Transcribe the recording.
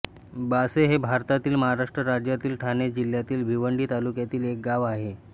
बासे हे भारतातील महाराष्ट्र राज्यातील ठाणे जिल्ह्यातील भिवंडी तालुक्यातील एक गाव आहे